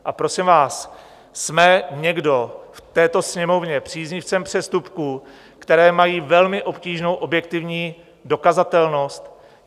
A prosím vás, jsme někdo v této Sněmovně příznivcem přestupků, které mají velmi obtížnou objektivní dokazatelnost?